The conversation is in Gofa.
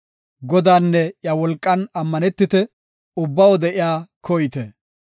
Godaanne iya wolqan ammanetite; ubba wode iya koyite.